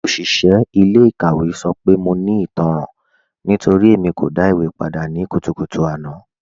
Oṣiṣẹ ilẹ̀-ikàwẹ̀ sọ pé mọ̀ ní ìtànran nítorí Ẹ̀mí kò dá ìwé pàdà ní kùtùkùtù àná